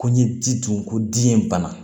Ko n ye ji dun ko di ye bana